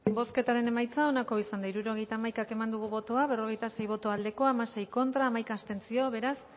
bozketaren emaitza onako izan da hirurogeita hamaika eman dugu bozka berrogeita sei boto aldekoa hamasei contra hamaika abstentzio beraz